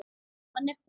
Hann er kom